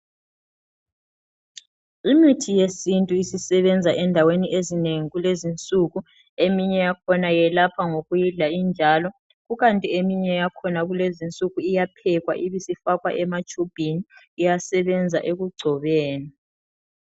Imithi yesintu isisebenza endaweni ezinengi kulezinsuku. Eminye yakhona yelapha ngokuyidla injalo kukanti eminye yakhona kulezinsuku iyaphekwa ibisifakwa ematshubhini, iyasebenza ekugcobeni.